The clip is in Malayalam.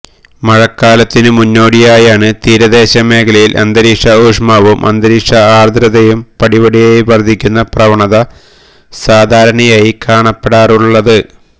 മഴക്കാലത്തിനു മുന്നോടിയായാണ് തീരദേശ മേഖലയില് അന്തരീക്ഷ ഊഷ്മാവും അന്തരീക്ഷ ആര്ദ്രതയും പടിപടിയായി വര്ദ്ധിക്കുന്ന പ്രവണത സാധാരണയായി കാണപ്പെടാറുള്ളത്